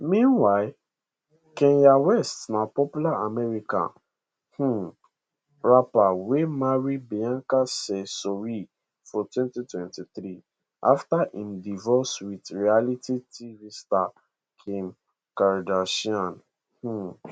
meanwhile kanye west na popular american um rapper wey marry bianca cesori for 2023 afta im divorce wit reality tv star kim kardashian um